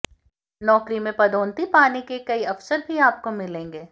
नौकरी में पदोन्नति पाने के कई अवसर भी आपको मिलेंगे